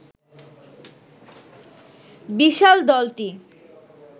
বিশাল দলটি